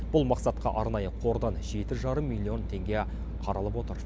бұл мақсатқа арнайы қордан жеті жарым миллион теңге қаралып отыр